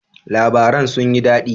Labaran sun yi daɗi?